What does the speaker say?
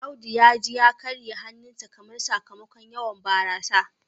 Audu ya ji ya karye hannunsa kamar. sakamakon yawan barasa